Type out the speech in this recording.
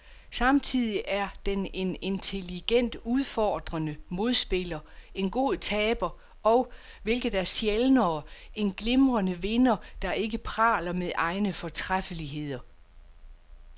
Samtidig er den en intelligent, udfordrende modspiller, en god taber, og, hvilket er sjældnere, en glimrende vinder, der ikke praler med egne fortræffeligheder.